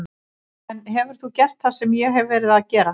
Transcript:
En hefur þú gert það sem ég hef verið að gera?